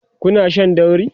Kuna Shan dauri?